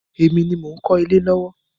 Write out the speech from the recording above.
Èmi ni mò ń kọ́lé lọ́wọ́.